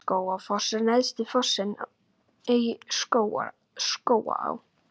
Skógafoss er neðsti fossinn í Skógaá.